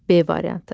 B variantı.